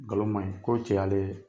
Ngalon maɲin ko cɛ y' a le